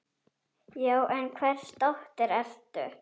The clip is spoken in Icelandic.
Já, en hvers dóttir ertu.?